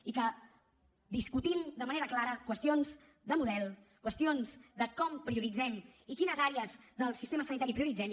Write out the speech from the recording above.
i que discutim de manera clara qüestions de model qüestions de com prioritzem i quines àrees del sistema sanitari prioritzem